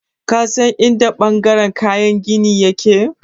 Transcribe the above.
Ka san in da ɓangaren kayan gini ya ke?